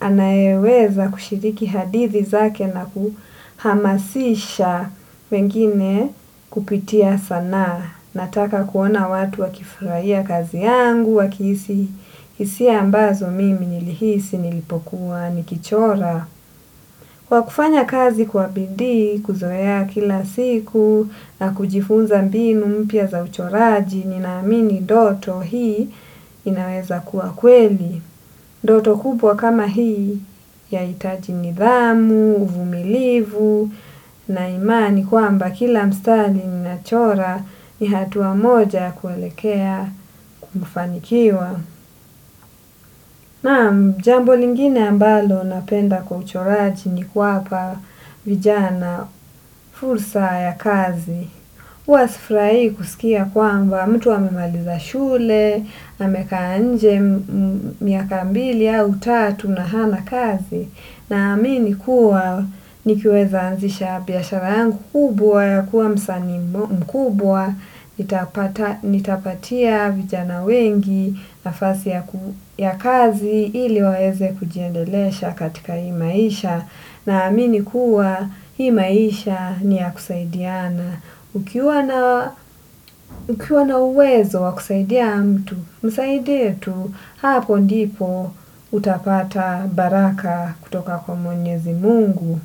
anayeweza kushiriki hadithi zake na kuhamasisha wengine kupitia sanaa. Nataka kuona watu wakifurahia kazi yangu wakihisi hisia ambazo mimi nilihisi nilipokuwa nikichora. Kwa kufanya kazi kwa bidii, kuzoea kila siku, na kujifunza mbinu mpya za uchoraji, ninaamini ndoto hii inaweza kuwa kweli. Mdoto kubwa kama hii, yahitaji nidhamu, uvumilivu, na imani kwamba kila mstali ninachora ni hatuwa moja ya kuelekea kufanikiwa. Naam jambo lingine ambalo napenda kwa uchoraji ni kuwapa vijana fursa ya kazi. Huwa sifurahi kusikia kwamba mtu amemaliza shule amekaa nje miaka mbili au tatu na hana kazi naamini kuwa nikiweza anzisha biashara yangu kubwa ya kuwa msanii mkubwa nitapata nitapatia vijana wengi nafasi ya kazi ili waweze kujiendelesha katika hii maisha naamini kuwa hii maisha ni ya kusaidiana. Ukiwa na uwezo wa kusaidia mtu, msaidie tu, hapo ndipo utapata baraka kutoka kwa mwenyezi mungu.